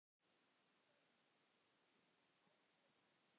Börn: Áki og Össur.